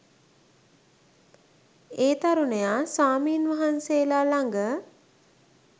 ඒ තරුණයා ස්වාමීන් වහන්සේලා ළඟ